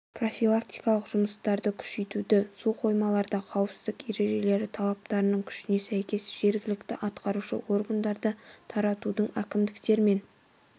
профилактикалық жұмыстарды күшейтуді су қоймаларда қауіпсіздік ережелері талаптарының күшіне сәйкес жергілікті атқарушы органдарды тартуды әкімдіктермен